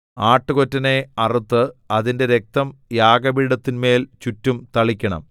ആട്ടുകൊറ്റനെ അറുത്ത് അതിന്റെ രക്തം യാഗപീഠത്തിന്മേൽ ചുറ്റും തളിക്കണം